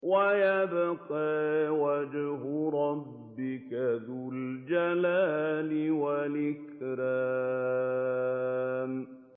وَيَبْقَىٰ وَجْهُ رَبِّكَ ذُو الْجَلَالِ وَالْإِكْرَامِ